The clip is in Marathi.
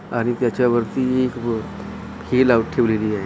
आणि त्याच्यावरती एक हे लावून ठेवलेली आहे .